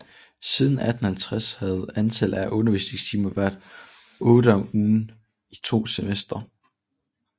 Siden 1850 havde antallet af undervisningstimer været otte om ugen i to semestre